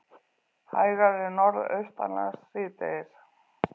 Hægari Norðaustanlands síðdegis